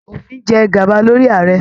Òfin jẹ gaba lórí Ààrẹ.